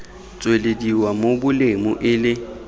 tswelediwa mo bolumu e le